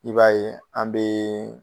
I b'a ye an be